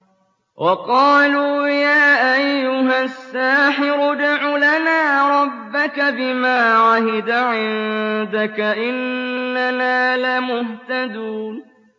وَقَالُوا يَا أَيُّهَ السَّاحِرُ ادْعُ لَنَا رَبَّكَ بِمَا عَهِدَ عِندَكَ إِنَّنَا لَمُهْتَدُونَ